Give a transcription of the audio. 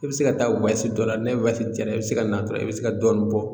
I bɛ se ka taa dɔ la ni diyara i bɛ se ka na dɔrɔn i bɛ se ka dɔɔnin bɔ